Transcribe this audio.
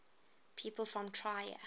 people from trier